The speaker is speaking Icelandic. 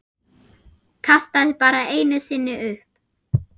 Kastaði bara einu sinni upp.